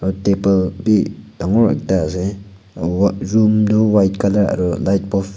aro table bhi dangor ekta ase room toh white colour aro light bukb --